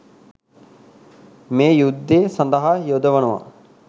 මේ යුද්දේ සඳහා යොදවනවා